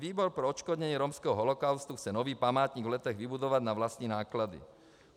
Výbor pro odškodnění romského holokaustu chce nový památník v Letech vybudovat na vlastní náklady.